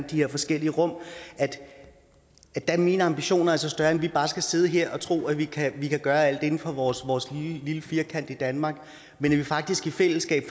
de her forskellige rum er mine ambitioner altså større end at vi bare skal sidde her og tro at vi kan gøre alt inden for vores vores lille firkant i danmark men at vi faktisk i fællesskab